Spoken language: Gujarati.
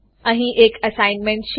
અહીં એક એસાઇનમેન્ટ છે